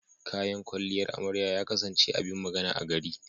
Kayan kwalliyar amarya ya kasance abin magana a gari.